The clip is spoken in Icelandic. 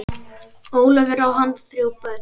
Ólafur, á hann þrjú börn.